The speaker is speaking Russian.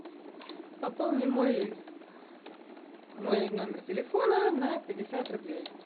пополни мой мой номер телефона на пятьдесят рублей